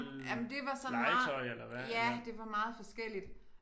Ja men det var sådan ja det var meget forskelligt